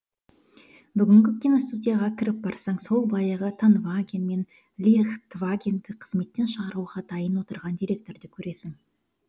бүгінгі киностудияға кіріп барсаң сол баяғы тонваген мен лихтвагенді қызметтен шығаруға дайын отырған директорды көресің